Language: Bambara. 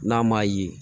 N'a m'a ye